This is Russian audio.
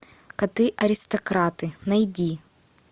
коты аристократы найди